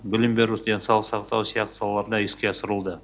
білім беру денсаулық сақтау сияқты салаларында іске асырылуда